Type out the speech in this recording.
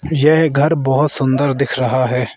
यह घर बहोत सुंदर दिख रहा है।